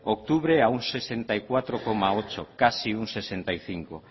octubre a un sesenta y cuatro coma ocho casi un sesenta y cinco